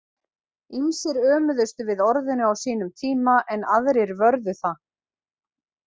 Ýmsir ömuðust við orðinu á sínum tíma en aðrir vörðu það.